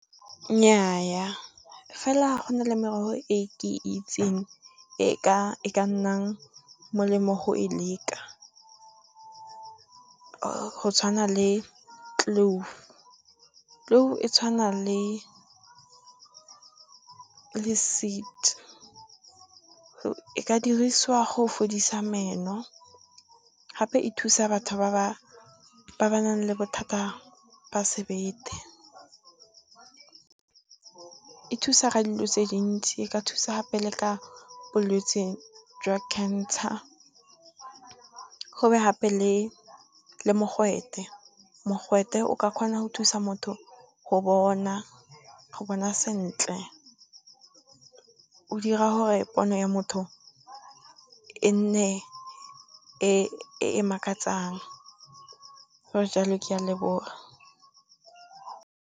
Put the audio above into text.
Nnyaa fela go na le merogo e ke itseng e ka nnang molemo go e leka, go tshwana le clove, clove e tshwana le seed. E ka dirisiwa go fodisa meno, gape e thusa batho ba ba nang le bothata ba sebete, e thusa ka dilo tse dintsi, e ka thusa gape le ka bolwetsi jwa cancer. Go be gape le le mogwete, mogwete o ka kgona go thusa motho go bona sentle o dira gore pono ya motho e nne e e makatsang, go le jalo ke a leboga.